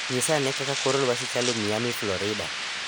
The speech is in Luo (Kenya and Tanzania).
Nyisa ane kaka kor lwasi chalo Miami florida